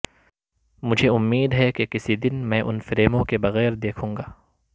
مجھے امید ہے کہ کسی دن میں ان فریموں کے بغیر دیکھوں گا